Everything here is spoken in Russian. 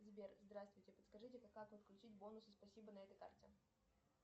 сбер здравствуйте подскажите как подключить бонусы спасибо на этой карте